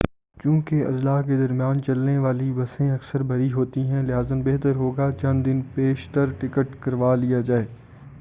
چوں کہ اضلاع کے درمیان چلنے والی بسیں اکثر بھری ہوتی ہیں لہذا بہتر ہو گا چند دن پیش تر ٹکٹ خرید لیا جائے